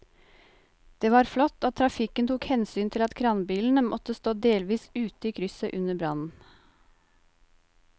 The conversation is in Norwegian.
Det var flott at trafikken tok hensyn til at kranbilen måtte stå delvis ute i krysset under brannen.